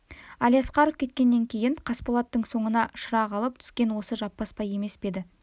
әлиасқаров кеткеннен кейін қасболаттың соңына шырақ алып түскен осы жаппасбай емес пе еді